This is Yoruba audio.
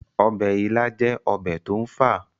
ọbẹ̀ ilá jẹ́ ọbẹ̀ tó ń fà